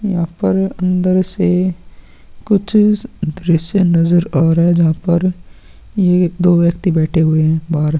यहां पर अंदर से कुछ दृश्य नजर आ रहा है जहां पर ये दो व्यक्ति बैठे हुए हैं बाहर।